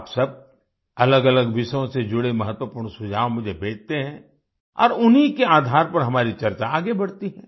आप सब अलग अलग विषयों से जुड़े महत्वपूर्ण सुझाव मुझे भेजते हैं और उन्हीं के आधार पर हमारी चर्चा आगे बढती है